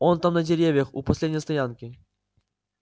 он там на деревьях у последней стоянки